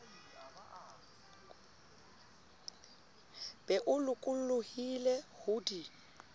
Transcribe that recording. be o lokollohile ho di